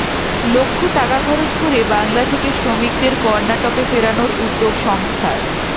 লক্ষ টাকা খরচ করে বাংলা থেকে শ্রমিকদের কর্ণাটকে ফেরানোর উদ্যোগ সংস্থার